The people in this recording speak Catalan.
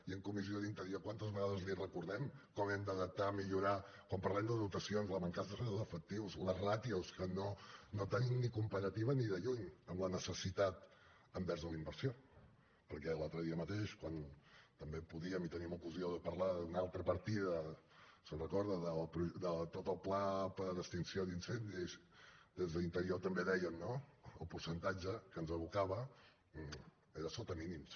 i en la comissió d’interior quantes vegades li recordem com hem d’adaptar millorar quan parlem de dotacions la mancança d’efectius les ràtios que no tenim ni comparativa ni de lluny amb la necessitat envers la inversió perquè l’altre dia mateix quan també podíem i teníem ocasió de parlar d’una altra partida se’n recorda de tot el pla per a extinció d’incendis des d’interior també deien no el percentatge que ens evocava era sota mínims